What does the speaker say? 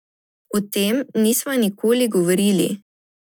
O tem nisva nikoli govorili.